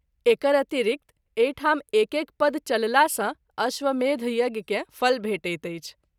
एकर अतिरिक्त एहि ठाम एक एक पद चलला सँ अश्वमेध यज्ञ के फल भेटैत अछि।